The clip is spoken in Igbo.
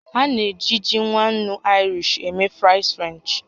A na-eji ji nwa ńnú Irish eme fries French